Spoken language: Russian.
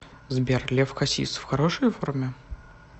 сбер лев хасис в хорошей форме